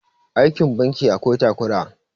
aikin banki akwai takura